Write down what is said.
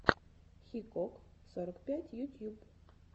хикок сорок пять ютьюб